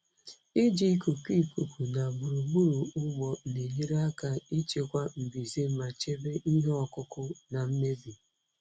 Iji ikuku ikuku na gburugburu ugbo na-enyere aka ịchịkwa mbuze ma chebe ihe ọkụkụ na mmebi.